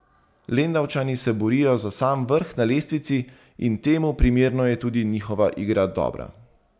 Lendavčani se borijo za sam vrh na lestvici in temu primerno je tudi njihova igra dobra.